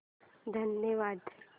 धन्यवाद